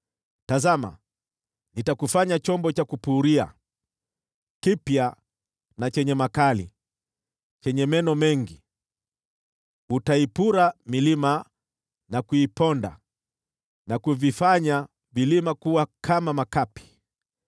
“Tazama, nitakufanya chombo cha kupuria, kipya na chenye makali, chenye meno mengi. Utaipura milima na kuiponda na kuvifanya vilima kuwa kama makapi.